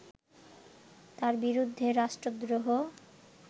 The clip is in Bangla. তার বিরুদ্ধে রাষ্ট্রদ্রোহ